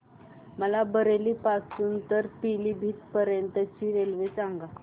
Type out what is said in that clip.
मला बरेली पासून तर पीलीभीत पर्यंत ची रेल्वे सांगा